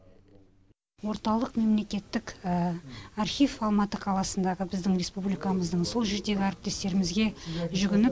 орталық мемлекеттік архив алматы қаласындағы біздің республикамыздың сол жердегі әріптестерімізге жүгініп